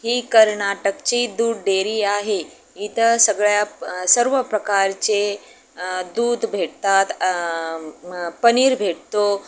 ही कर्नाटक ची दूध डेरी आहे इथं सगळ्या अं सर्व प्रकारचे अं दूध भेटतात अं पनीर भेटतो.